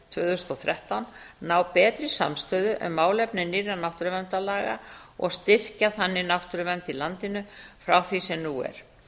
tvö þúsund og þrettán ná betri samstöðu um málefni nýrra náttúruverndarlaga og styrkja þannig náttúruvernd í landinu frá því sem nú er